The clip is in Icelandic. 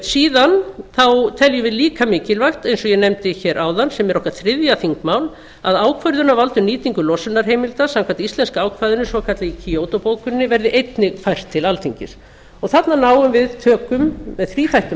síðan teljum við líka mikilvægt eins og ég nefndi áðan sem er okkar þriðja þingmál að ákvörðunarvald um nýtingu losunarheimilda samkvæmt íslenska ákvæðinu svokallaða í kyoto bókuninni verði einnig fært til alþingis þarna náum við tökum á með þríþættum